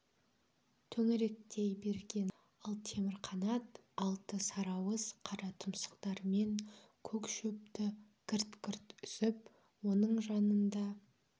төңіректей берген ал темірқанат алты сарыауыз қара тұмсықтарымен көк шөпті гірт-гірт үзіп оның жанында